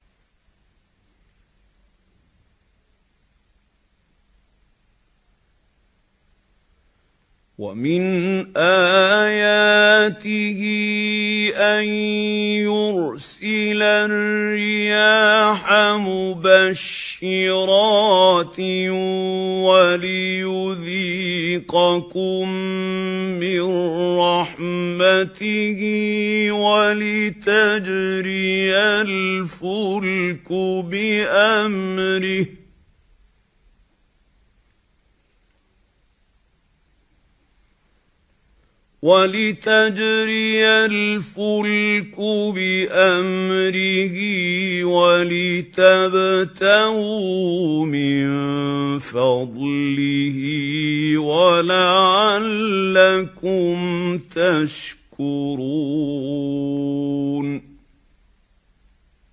وَمِنْ آيَاتِهِ أَن يُرْسِلَ الرِّيَاحَ مُبَشِّرَاتٍ وَلِيُذِيقَكُم مِّن رَّحْمَتِهِ وَلِتَجْرِيَ الْفُلْكُ بِأَمْرِهِ وَلِتَبْتَغُوا مِن فَضْلِهِ وَلَعَلَّكُمْ تَشْكُرُونَ